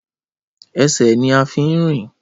Ẹsẹ̀ ní a fí ń rìn